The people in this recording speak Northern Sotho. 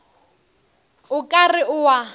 o ka re o a